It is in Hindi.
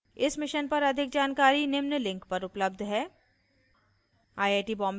इस mission पर अधिक जानकारी निम्न लिंक पर उपलब्ध है :